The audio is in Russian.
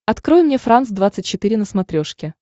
открой мне франс двадцать четыре на смотрешке